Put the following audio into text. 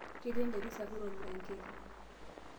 Ketii enterit sapuk olmiranketi.